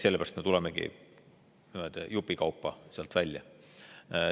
Sellepärast me tulemegi jupikaupa sealt välja.